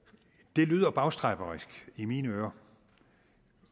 det lyder bagstræberisk i mine ører